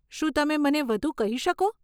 શું તમે મને વધુ કહી શકો?